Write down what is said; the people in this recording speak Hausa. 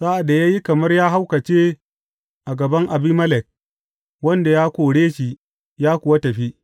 Sa’ad da ya yi kamar ya haukace a gaban Abimelek, Wanda ya kore shi, ya kuwa tafi.